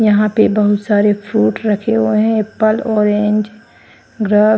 यहां पे बहुत सारे फ्रूट रखे हुए हैं एप्पल ऑरेंज ग्र--